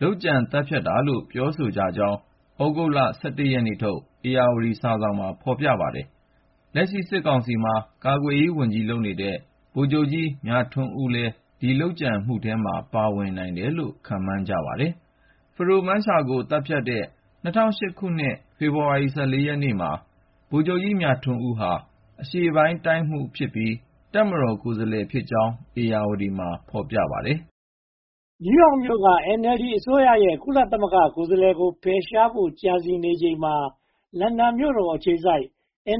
လုပ်ကြံသတ်ဖြတ်တာလို့ ပြောဆိုကြကြောင်း သြဂုတ်လ (၁၁) ရက်နေ့ထုတ် ဧရာဝတီစာစောင်မှာ ဖော်ပြခဲ့ပါတယ်။ လက်ရှိစစ်ကောင်စီမှာ ကာကွယ်ရေးဝန်ကြီးလုပ်နေတဲ့ ဗိုလ်ချုပ်ကြီးမြထွန်းဦးလည်း ဒီလုပ်ကြံမှုထဲမှာ ပါဝင်နိုင်တယ်လို့ ခန့်မှန်းကြပါတယ်။ ဖဒိုမန်းရှာလာဖန်းကို သတ်ဖြတ်တဲ့ ၂၀၀၈ ခုနှစ် ဖေဖေါ်ဝါရီလ (၁၄) ရက်နေ့မှာ ဗိုလ်ချုပ်ကြီးမြထွန်းဦးဟာ အရှေ့ပိုင်းတိုင်းမှူးဖြစ်ပြီး တပ်မတော်ကိုယ်စားလှယ်ဖြစ်ကြောင်း ဧရာဝတီမှာ ဖော်ပြထားပါတယ်။ နယူးရောက်မြို့က NLD အစိုးရရဲ့ ကုလသမဂ္ဂကိုယ်စားလှယ်ကို ဖယ်ရှားနိုင်ဖို့ ကြံစည်နေချိန်မှာ လန်ဒန်မြို့တော်အခြေစိုက်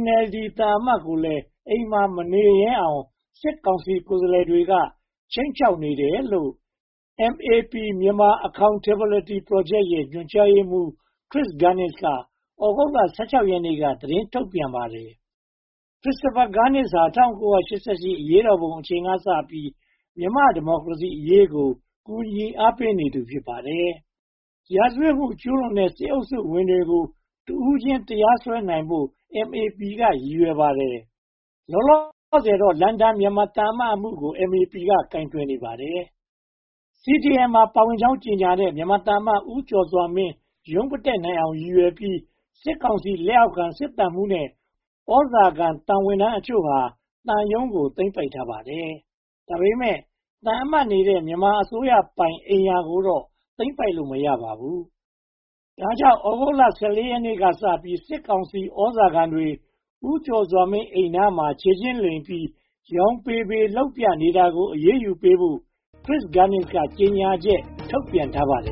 NLD သံအမတ်ကိုလည်း အိမ်မှာမနေရဲအောင် စစ်ကောင်စီကိုယ်စားလှယ်တွေက ခြိမ်းခြောက်နေတယ်လို့ MAP - Myanmar Accountability Project ရဲ့ ညွှန်ကြားရေးမှူး Chris Gunness က သြဂုတ်လ (၁၆) ရက်နေ့က သတင်းထုတ်ပြန်ပါတယ်။ Christopher Gunness ဟာ ၁၉၈၈ အရေးတော်ပုံအချိန်ကစပြီး မြန်မာ့ဒီမိုကရေစီအရေးကို ကူညီအားပေးနေသူ ဖြစ်ပါတယ်။ ရာဇဝတ်မှု ကျူးလွန်တဲ့ စစ်အုပ်စုဝင်တွေကို တဦးချင်း တရားစွဲနိုင်ဖို့ MAP က ရည်ရွယ်ပါတယ်။ လောလောဆယ်တော့ လန်ဒန်မြန်မာသံအမတ်အမှုကို MAP က ကိုင်တွယ်နေပါတယ်။ CDM မှာ ပါဝင်ကြောင်း ကြေညာတဲ့ မြန်မာသံအမတ် ဦးကျော်စွာမင်း ရုံးမတက်နိုင်အောင် ရည်ရွယ်ပြီး စစ်ကောင်စီလက်အောက်ခံ စစ်သံမှူးနဲ့ သြဇာခံသံဝန်ထမ်းတချို့ဟာ သံရုံးကို သိမ်းပိုက်ထားလိုက်တာ ဖြစ်ပါတယ်။ ဒါပေမဲ့ သံအမတ်နေတဲ့ မြန်မာအစိုးရပိုင်အိမ်ယာကိုတော့ သိမ်းပိုက်လို့ မရပါဘူး။ ဒါကြောင့် သြဂုတ်လ (၁၄) ရက်နေ့ကစပြီး စစ်ကောင်စီသြဇာခံတွေ ဦးကျော်စွာမင်းအိမ်နား ခြေချင်းလိမ်ပြီး ယောင်ပေပေလုပ်ပြနေတာကို အရေးယူဖို့ Chris Gunness က ကြေညာချက် ထုတ်ပြန်ထားပါတယ်